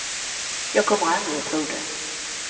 Jag kommer aldrig att tro det.